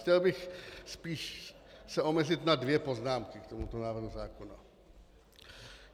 Chtěl bych se spíše omezit na dvě poznámky k tomuto návrhu zákona.